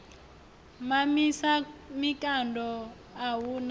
mamisa mikando a hu na